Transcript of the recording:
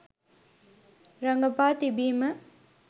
රඟපා තිබීම.